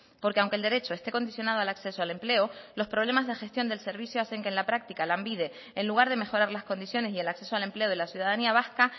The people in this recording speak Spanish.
porque aunque el derecho esté condicionado al acceso al empleo los problemas de gestión del servicio hacen que en la práctica lanbide en lugar de mejorar las condiciones y el acceso al empleo de la ciudadanía vasca